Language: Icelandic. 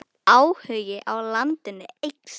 Áhugi á landinu eykst.